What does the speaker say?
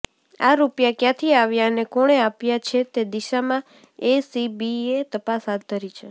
આ રૂપિયા ક્યાંથી આવ્યા અને કોણે આપ્યા છે તે દિશામાં એસીબીએ તપાસ હાથ ધરી છે